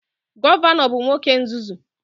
Gọvanọ bụ nwoke nzuzu